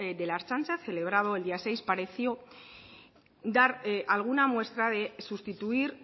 de la ertzaintza celebrado el día seis pareció dar alguna muestra de sustituir